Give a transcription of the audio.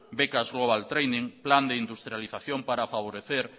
becas global training plan de industrialización para favorecer